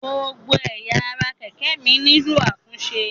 Gbogbo ẹ̀yà ara kẹ̀kẹ́ mi nílò àtúnṣe.